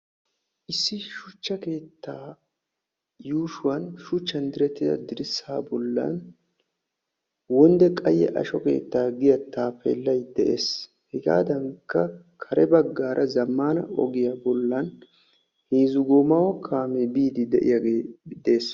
issi shuchcha keettaa yuushshuwan shuchchan direttida dirssaa bollan wodde qayye asho keetta giya taappeellay des. hegaadankka kare baggaara zammaana ogiya bollan heezzu goomaawa kaame biiddi de'iyage des.